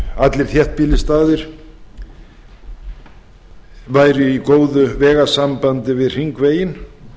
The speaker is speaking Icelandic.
allir þéttbýlisstaðir væru í góðu vegasambandi við hringveginn